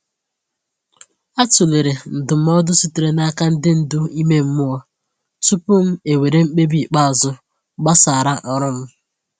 A tụlere ndụmọdụ sitere n’aka ndị ndu ime mmụọ tupu m ewere mkpebi ikpeazụ gbasara ọrụ m.